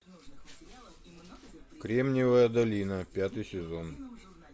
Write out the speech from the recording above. кремниевая долина пятый сезон